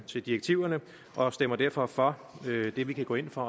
til direktiverne og stemmer derfor for det vi kan gå ind for